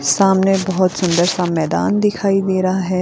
सामने बहुत सुंदर सा मैदान दिखाई दे रहा है।